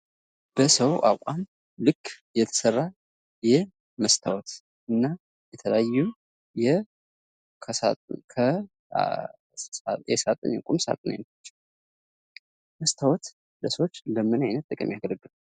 በሰው አቋም ልክ የተሰራ የመስታወት እና የተለያዩ የቁም ሳጥን አይነቶች መስታወት ለሰዎች በምን አይነት ጥቅም ያገለግላል?